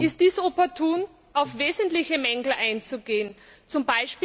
Ist dies opportun, um auf wesentliche Mängel einzugehen,